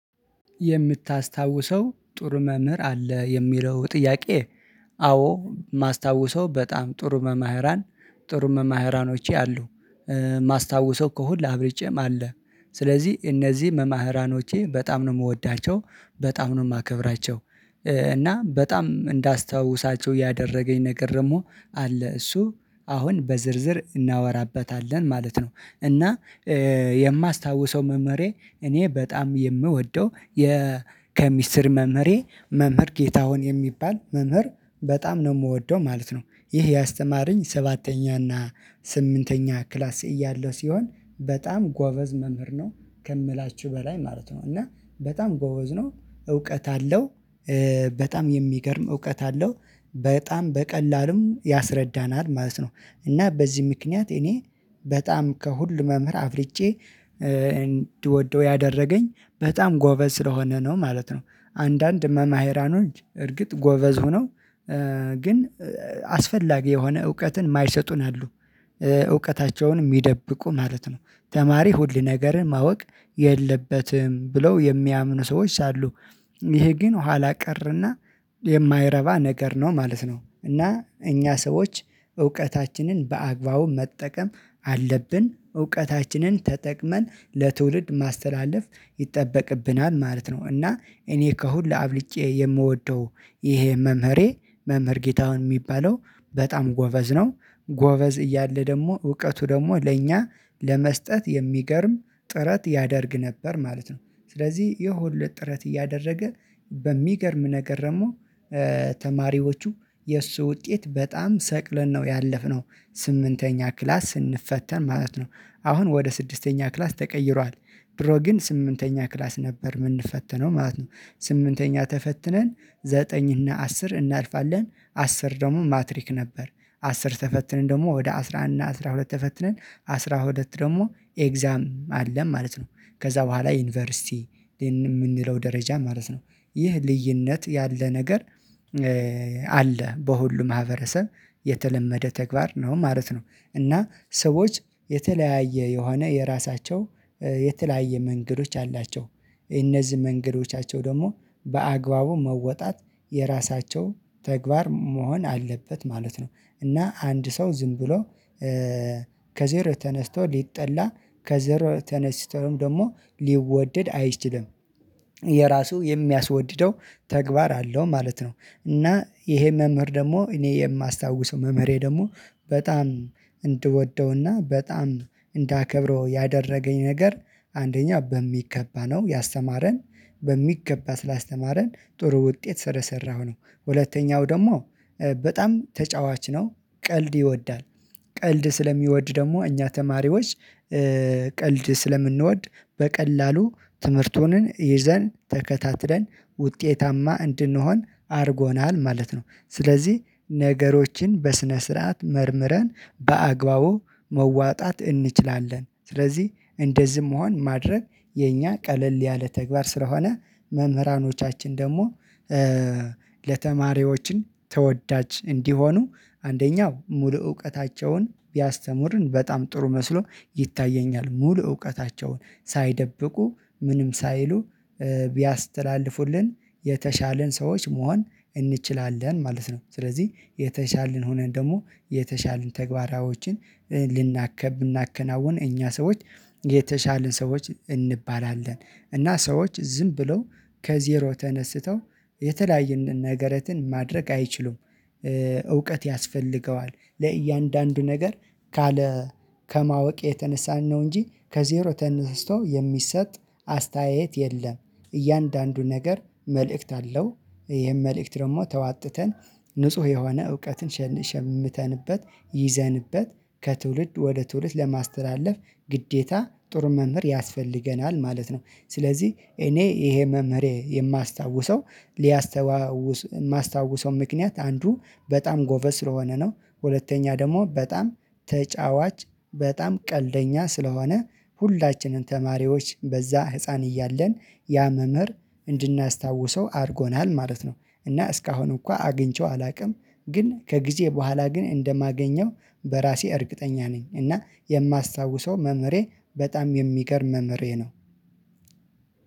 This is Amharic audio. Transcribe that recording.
የምታስታውሰው ጥሩ መምህር አለህ? የሚለው ጥያቄ አዎ የማስታውሰው በጣም ጥሩ መምህራን ጥሩ መምህራኖች አሉ። የማስታውሰው ከሁሉ አብልጬም አለ። ስለዚህ እነዚህ መምህራኖቼ በጣም ነው የምወዳቸው። በጣም ነው የማከብራቸው። እና በጣም እንዳስታውሳቸው ያደረገኝ ነገር ደግሞ አለ። እሱ አሁን በዝርዝር እናወራበታለን ማለት ነው። እና የማስታውሰው መምህሬ እኔ በጣም የምወደው መምህሬ መምህር ጌታሁን የሚባል መምህር በጣም ነው የምወደው ማለት ነው። ይህ ያስተማረኝ ሰባተኛና ስምንተኛ ክላስ እያለሁ ሲሆን፤ በጣም ጎበዝ መምህር ነው ከምላችሁ በላይ ማለት ነው። እና በጣም ጎበዝ ነው፤ እውቀት አለው። በጣም የሚገርም እውቀት አለው። በጣም በቀላሉም ያስረዳናል ማለት ነው። እና በዚህ ምክንያት እኔ በጣም ከሁሉ መምህር አብርጬ እንድወደው ያደረገኝ በጣም ጎበዝ ስለሆነ ነው ማለት ነው። አንዳንድ መምህራኖች እርግጥ ጎበዝ ሆነው ግን አስፈላጊ የሆነ እውቀትን የማይሰጡን አሉ። እውቀታቸውን የሚደብቁ ማለት ነው። ተማሪ ሁል ነገርን ማወቅ የለበትም ብለው የሚያምኑ ሰዎች አሉ። ይህ ግን ኋላ ቀርና የማይረባ ነገር ነው ማለት ነው። እና እኛ ሰዎች እውቀታችንን በአግባቡ መጠቀም አለብን። እውቀታችንን ተጠቅመን ለትውልድ ማስተላለፍ ይጠበቅብናል ማለት ነው። እና እኔ ከሁሉ አብልጬ የምወደው ይሄ መምህሬ መምህር ጌታሁን የሚባለው በጣም ጎበዝ ነው። ጎበዝ እያለ ደግሞ እውቀቱ ደግሞ ለእኛ ለመስጠት የሚገርም ጥረት ያደርግ ነበር ማለት ነው። ስለዚህ ይህ ሁሉ ጥረት እያደረገ በሚገርም ነገር ደግሞ ተማሪዎቹ የእሱ ውጤት በጣም ሰቅለን ነው ያለፍነው። ስምንተኛ ክላስ ስንፈተን ማለት ነው። አሁን ወደ ስድስተኛ ክላስ ተቀይሯል። ድሮ ግን ስምንተኛ ክላስ ነበር የምንፈተነው ማለት ነው። ስምንተኛ ተፈትነን ዘጠኝ እና አስር እናልፋለን። አስር ደግሞ ማትሪክ ነበር። አስር ተፈትነን ደግሞ ወደ አስራ አንድ እና አስራ ሁለት ተፈትነን አስራ ሁለት ደግሞ ኤግዛም አለን ማለት ነው። ከዛ በኋላ ዩኒቨርሲቲ የምንለው ደረጃ ማለት ነው። ይህ ልዩነት ያለ ነገር አለ። በሁሉም ማህበረሰብ የተለመደ ተግባር ነው ማለት ነው። እና ሰዎች የተለያየ የሆነ የራሳቸው የተለያየ መንገዶች አላቸው። እነዚህ መንገዶቻቸው ደግሞ በአግባቡ መወጣት የራሳቸው ተግባር መሆን አለበት ማለት ነው። እና አንድ ሰው ዝም ብሎ ከዜር ተነስቶ ሊጠላ ከዜር ተነስቶም ደግሞ ሊወደድ አይችልም። የራሱ የሚያስወድደው ተግባር አለው ማለት ነው። እና ይሄ መምህር ደግሞ እኔ የማስታውሰው መምህሬ ደግሞ በጣም እንድወደውና በጣም እንዳከብረው ያደረገኝ ነገር አንደኛ በሚገባ ነው ያስተማረን፤ በሚገባ ስላስተማረን ጥሩ ውጤት ስለሰራሁ ነው። ሁለተኛው ደግሞ በጣም ተጫዋች ነው። ቀልድ ይወዳል። ቀልድ ስለሚወድ ደግሞ እኛ ተማሪዎች ቀልድ ስለምንወድ በቀላሉ ትምህርቱንን ይዘን ተከታትለን ውጤታማ እንድንሆን አድርጎናል ማለት ነው። ስለዚህ ነገሮችን በስነ ስርዓት መርምረን በአግባቡ መዋጣት እንችላለን። ስለዚህ እንደዚህ መሆን ማድረግ የኛ ቀለል ያለ ተግባር ስለሆነ መምህራኖቻችን ደግሞ ለተማሪዎችን ተወዳጅ እንዲሆኑ አንደኛው ሙሉ እውቀታቸውን ቢያስተምሩን በጣም ጥሩ መስሎ ይታየኛል። ሙሉ እውቀታቸውን ሳይደብቁ ምንም ሳይሉ ቢያስተላልፉልን የተሻልን ሰዎች መሆን እንችላለን ማለት ነው። ስለዚህ የተሻልን ሆነን ደግሞ የተሻልን ተግባራዎችን ብናከናውን እኛ ሰዎች የተሻለን ሰዎች እንባላለን። እና ሰዎች ዝም ብለው ከዜሮ ተነስተው የተለያየ ነገረትን ማድረግ አይችሉም። እውቀት ያስፈልገዋል። ለእያንዳንዱ ነገር ካለ ከማወቅ የተነሳን ነው እንጂ ከዜሮ ተነስቶ የሚሰጥ አስተያየት የለም። እያንዳንዱ ነገር መልእክት አለው ይሄን መልእክት ደግሞ ተዋጥተን ንጹህ የሆነ እውቀትን ሸምተንበት ይዘንበት ከትውልድ ወደ ትውልት ለማስተላለፍ ግዴታ ጥሩ መምህር ያስፈልገናል ማለት ነው። ስለዚህ እኔ ይሄ መምህሬ የማስታውሰው ሊያስተዋውስ የማስታውሰው ምክንያት አንዱ በጣም ጎበዝ ስለሆነ ነው። ሁለተኛ ደግሞ በጣም ተጫዋች በጣም ቀልደኛ ስለሆነ ሁላችንን ተማሪዎች በዛ ህፃን እያለን ያ መምህር እንድናስታውሰው አድርጎናል ማለት ነው። እና እስካሁን እንኳን አግኝቼው አላውቅም። ግን ከጊዜ በኋላ ግን እንደማገኘው በራሴ እርግጠኛ ነኝ። እና የማስታውሰው መምህሬ በጣም የሚገርም መምህሬ ነው።